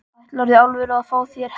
Ætlarðu í alvöru að fá þér hest?